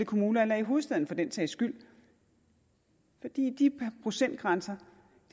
kommuner eller i hovedstaden for den sags skyld for de procentgrænser